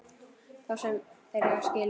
Þá sem þeir eiga skilið.